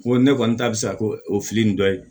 Ko ne kɔni ta bi sa ko o fili nin dɔ ye